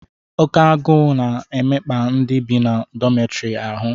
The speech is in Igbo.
Oke agụụ na-emekpa ndị bi na dọmịtọrị ahụ